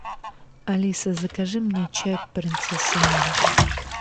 алиса закажи мне чай принцесса нури